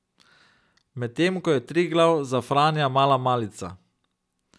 Medtem ko je Triglav za Franja mala malica.